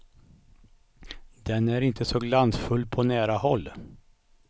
Den är inte så glansfull på nära håll.